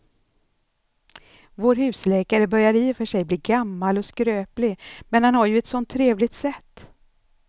Vår husläkare börjar i och för sig bli gammal och skröplig, men han har ju ett sådant trevligt sätt!